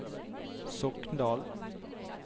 Sokndal